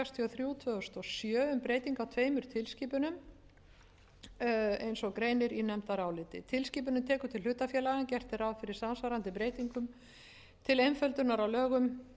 þrjú tvö þúsund og sjö um breytingu á tveimur tilskipunum eins og greinir í nefndaráliti tilskipunin tekur til hlutafélaga en gert er ráð fyrir samsvarandi breytingum til